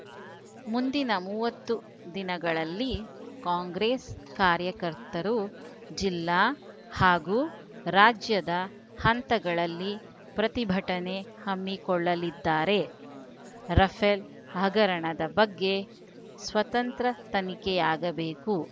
ಮುಂದಿನ ಮೂವತ್ತು ದಿನಗಳಲ್ಲಿ ಕಾಂಗ್ರೆಸ್‌ ಕಾರ್ಯಕರ್ತರು ಜಿಲ್ಲಾ ಹಾಗೂ ರಾಜ್ಯದ ಹಂತಗಳಲ್ಲಿ ಪ್ರತಿಭಟನೆ ಹಮ್ಮಿಕೊಳ್ಳಲಿದ್ದಾರೆ ರಫೇಲ್‌ ಹಗರಣದ ಬಗ್ಗೆ ಸ್ವತಂತ್ರ ತನಿಖೆಯಾಗಬೇಕು